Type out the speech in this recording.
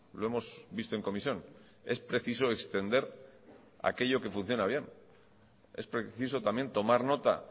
lo hemos visto en comisión es preciso extender aquello que funciona bien es preciso también tomar nota